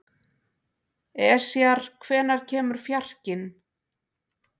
Esjar, hvenær kemur fjarkinn?